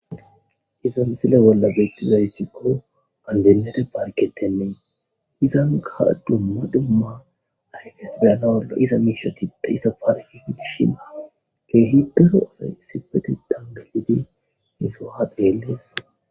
Iza missile bola betizaysikko andinete parketenne izanka duma duma ayfes be'anawu lo'iza mishati de'iza parke gidishin kehi daro asay issipetetan gelidi he sohuwa xeles.